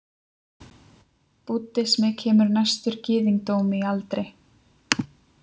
Búddismi kemur næstur gyðingdómi í aldri.